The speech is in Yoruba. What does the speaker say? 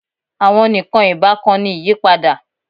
Awọn nikan ibakan ni iyipada